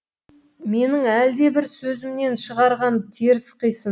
менің әлдебір сөзімнен шығарған теріс қисын